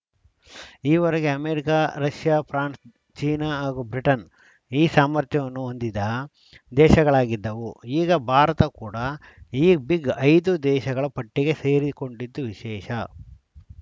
ಈವರೆಗೆ America Russia France China ಹಾಗೂ Britain ಈ ಸಾಮರ್ಥ್ಯವನ್ನು ಹೊಂದಿದ ದೇಶಗಳಾಗಿದ್ದವು ಈಗ ಭಾರತ ಕೂಡ ಈ ಬಿಗ್‌ಇದು ದೇಶಗಳ ಪಟ್ಟಿಗೆ ಸೇರಿಕೊಂಡಿದ್ದು ವಿಶೇಷ